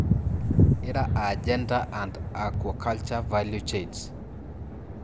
ire aaa Gender and aquaculture value chains.